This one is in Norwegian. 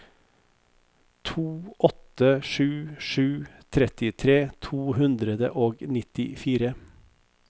to åtte sju sju trettitre to hundre og nittifire